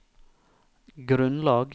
grunnlag